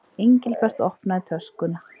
Engilbert opnaði töskuna.